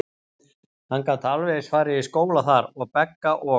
Hann gat alveg eins farið í skóla þar, og Begga og